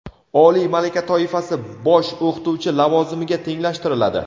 oliy malaka toifasi – bosh o‘qituvchi lavozimiga tenglashtiriladi.